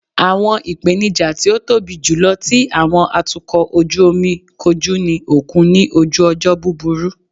Awọn ipenija ti o tobi julọ ti awọn atukọ oju omi koju ni okun ni oju ojo buburu